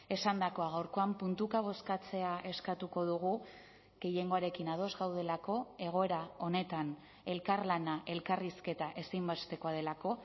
esandakoa gaurkoan puntuka bozkatzea eskatuko dugu gehiengoarekin ados gaudelako egoera honetan elkarlana elkarrizketa ezinbestekoa delako